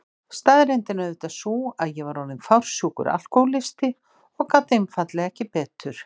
Staðreyndin er auðvitað sú að ég var orðin fársjúkur alkohólisti og gat einfaldlega ekki betur.